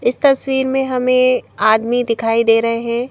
इस तस्वीर में हमें आदमी दिखाई दे रहे हैं।